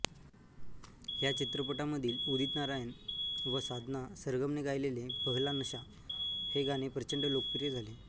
ह्या चित्रपटामधील उदित नारायण व साधना सरगमने गायलेले पहला नशा हे गाणे प्रचंड लोकप्रिय झाले